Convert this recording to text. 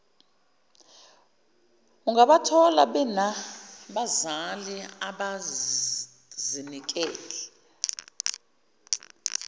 ungabathola benabazali abazinikele